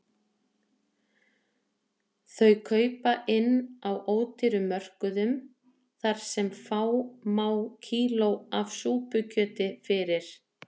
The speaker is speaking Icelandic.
Þau kaupa inn á ódýrum mörkuðum þar sem fá má kíló af súpukjöti fyrir